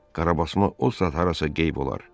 Qarabasma o saat harasa qeyb olar.